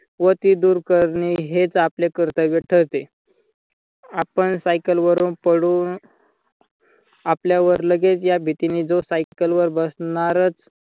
व ती दूर करणे हेच आपले कर्तव्य ठरते. आपण cycle वरून पडू आपल्यावर लगेच या भीतीने जो cycle वर बसणारच